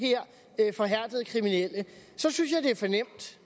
her forhærdede kriminelle så synes jeg det er for nemt